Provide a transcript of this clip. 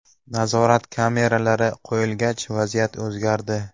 Nazorat kameralari qo‘yilgach vaziyat o‘zgardi.